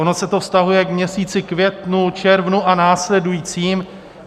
Ono se to vztahuje k měsíci květnu, červnu a následujícím.